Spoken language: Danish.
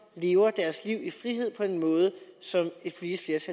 lever deres liv i frihed på en måde som et politisk